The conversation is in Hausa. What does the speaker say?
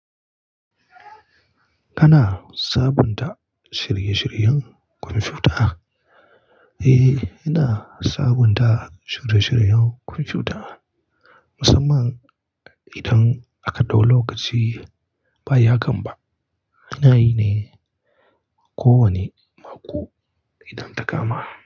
Kana sabunta shirye-shiryen kwamfuta? Eh, ina sabunta shirye-shiryen kwamfuta. Musamman idan aka ɗau lokaci ba ya gamba. Ina yi ne, ko wane mako idan ta kama.